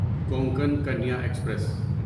Konkan Kanya express